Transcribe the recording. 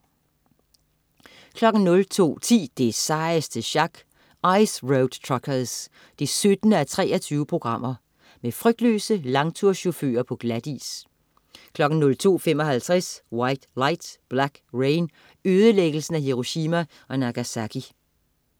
02.10 Det sejeste sjak. Ice Road Truckers 17:23. Med frygtløse langturschauffører på glatis 02.55 White Light, Black Rain. Ødelæggelsen af Hiroshima og Nagasaki